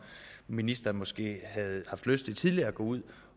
ministeren måske havde haft lyst til at gå ud